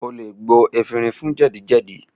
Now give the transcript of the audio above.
O lè gbo efinrin fún jẹ́dì-jẹ́dì